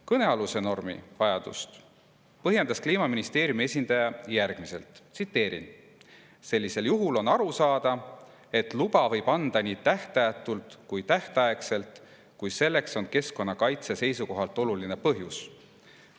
Kõnealuse normi vajadust põhjendas Kliimaministeeriumi esindaja järgmiselt, tsiteerin: "Sellisel juhul on aru saada, et luba võib anda nii tähtajatult kui tähtaegselt, kui selleks on keskkonnakaitse seisukohalt oluline põhjus.